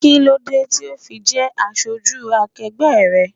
Kí ló dé tí o ò fi jẹ́ aṣojú akegbe rẹ?